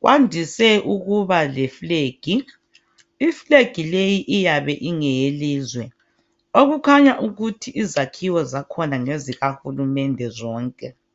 Kwandise ukuna leflegi. Iflegi leyi iyabe ingeyelizwe. Okukhanya ukuthi izakhiwo zakhona ngezikahulumende zonke.